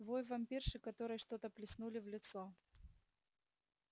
вой вампирши которой что-то плеснули в лицо